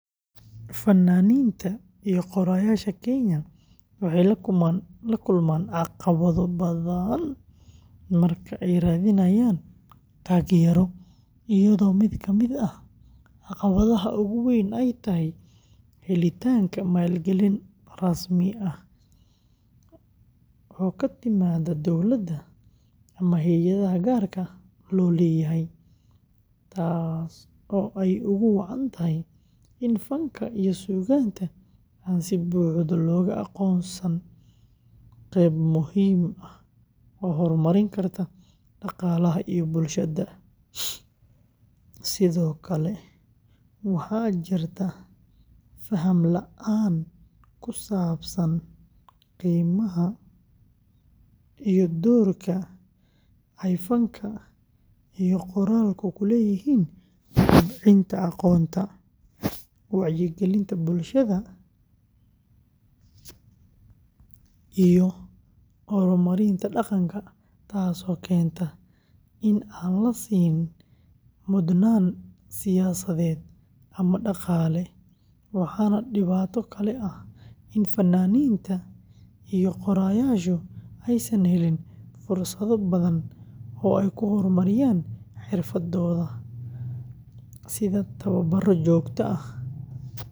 Fannaaniinta iyo qoraayaasha Kenya waxay la kulmaan caqabado badan marka ay raadinayaan taageero, iyadoo mid ka mid ah caqabadaha ugu weyn ay tahay helitaanka maalgelin rasmi ah oo ka timaada dowladda ama hay’adaha gaarka loo leeyahay, taas oo ay ugu wacan tahay in fanka iyo suugaanta aan si buuxda loogu aqoonsan qeyb muhiim ah oo horumarin karta dhaqaalaha iyo bulshada; sidoo kale, waxaa jirta faham la’aan ku saabsan qiimaha iyo doorka ay fanka iyo qoraalku ku leeyihiin kobcinta aqoonta, wacyigelinta bulshada iyo horumarinta dhaqanka, taasoo keentay in aan la siin mudnaan siyaasadeed ama dhaqaale, waxaana dhibaato kale ah in fannaaniinta iyo qoraayaashu aysan helin fursado badan oo ay ku horumariyaan xirfadooda, sida tababaro joogto ah.